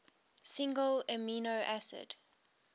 single amino acid